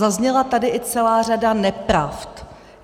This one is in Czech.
Zazněla tady i celá řada nepravd.